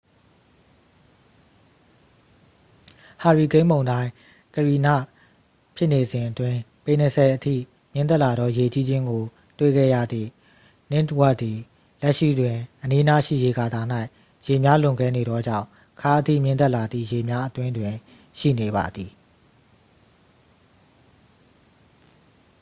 ဟာရီကိန်းမုန်တိုင်း ကရီန ဖြစ်နေစဉ်အတွင်း ပေ ၂၀ အထိမြင့်တက်လာသော ရေကြီးခြင်းကို တွေ့ခဲ့ရသည့် ninth wardသည် လက်ရှိတွင် အနီးအနားရှိ ရေကာတာ၌ ရေများလွန်ကဲနေသောကြောင့် ခါးအထိမြင့်တက်လာသည့် ရေများအတွင်းတွင် ရှိနေပါသည်။